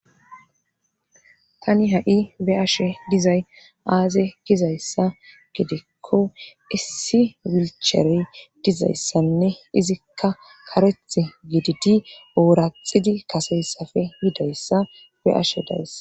tani ha7i be'ashe dizay aaze gizayssa gedekko issi wilcharey dizayssanne izikka kareth gididi ooraxidi kaseyssafe yidayssa be ashe dayss